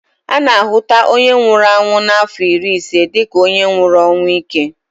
A na a hụta onye nwụrụ ọnwụ n'afọ iri ise dịka onye nwụrụ ọnwụ íke